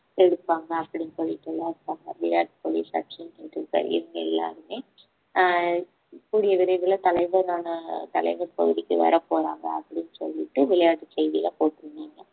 எடுப்பாங்க அப்படின்னு சொல்லிட்டு எல்லாம் இருப்பாங்க விராட் கோலி சச்சின் டெண்டுல்கர் இவங்க எல்லாருமே ஆஹ் கூடிய விரைவுல தலைவரான தலைவர் பகுதிக்கு வரப்போறாங்க அப்படின்னு சொல்லிட்டு விளையாட்டு செய்தியில போட்டிருந்தாங்க